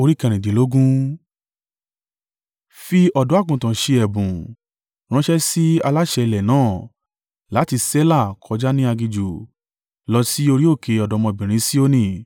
Fi ọ̀dọ́-àgùntàn ṣe ẹ̀bùn ránṣẹ́ sí aláṣẹ ilẹ̀ náà, láti Sela, kọjá ní aginjù, lọ sí orí òkè ọ̀dọ́mọbìnrin Sioni.